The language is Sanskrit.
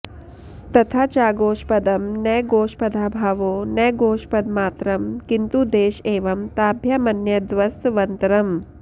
तथा चागोष्पदं न गोष्पदाभावो न गोष्पदमात्रं किन्तु देश एव ताभ्यामन्यद्वस्त्वन्तरम्